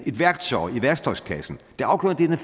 et værktøj i værktøjskassen det afgørende